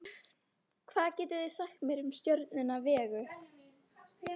hvað getið þið sagt mér um stjörnuna vegu